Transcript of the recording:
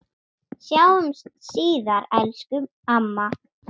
Sjáumst síðar, elsku amma.